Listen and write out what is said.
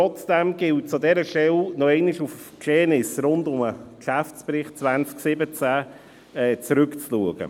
Trotzdem gilt es an dieser Stelle nochmals auf die Geschehnisse rund um den Geschäftsbericht 2017 zurückzublicken.